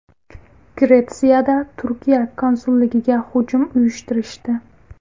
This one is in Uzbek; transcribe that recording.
Gretsiyada Turkiya konsulligiga hujum uyushtirishdi.